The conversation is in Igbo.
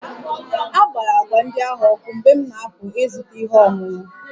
A gbara agwa ndị ahụ ọkụ mgbe m na-apụ ịzụta ihe ọṅụṅụ